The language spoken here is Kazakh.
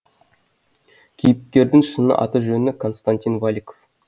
кейіпкердің шын аты жөні константин валиков